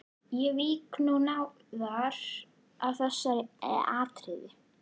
Ég vík nú nánar að þessu atriði.